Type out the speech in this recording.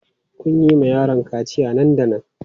Ku yi wa yaron kaciya nan da nan!